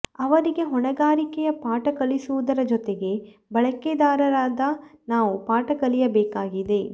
ಅವರಿಗೆ ಹೊಣೆಗಾರಿಕೆಯ ಪಾಠ ಕಲಿಸುವುದರ ಜೊತೆಗೆ ಬಳಕೆದಾರರಾದ ನಾವೂ ಪಾಠ ಕಲಿಯಬೇಕಾಗಿದೆ